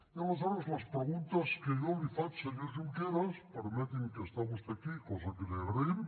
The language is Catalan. i aleshores les preguntes que jo li faig senyor junqueras permeti’m que està vostè aquí cosa que li agraïm